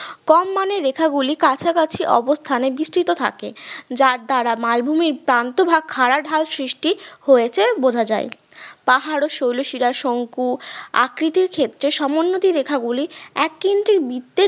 কম মানের রেখা গুলি কাছাকাছি অবস্থানে বিস্তৃত থাকে যার দ্বারা মালভূমির প্রান্ত ভাগ খাড়া ঢাল ভাগ সৃষ্টি হয়েছে বোঝা যাই পাহাড় ও শৈল শিরা শংকু আকৃতির ক্ষেত্রে সমোন্নতি রেখা গুলি এক কিনতে বৃত্তের